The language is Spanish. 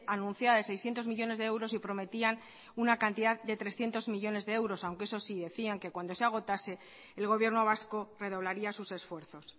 anunciada de seiscientos millónes de euros y prometían una cantidad de trescientos millónes de euros aunque eso sí decían que cuando se agotase el gobierno vasco redoblaría sus esfuerzos